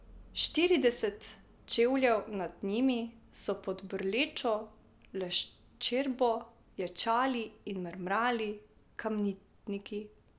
Štirideset čevljev nad njimi so pod brlečo leščerbo ječali in mrmrali kamnitniki.